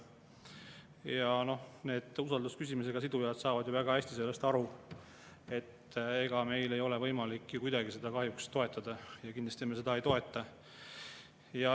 Ja need usaldusküsimusega sidujad saavad ju väga hästi sellest aru, et meil ei ole võimalik kuidagi seda kahjuks toetada, me kindlasti seda ei toeta.